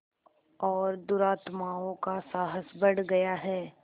और दुरात्माओं का साहस बढ़ गया है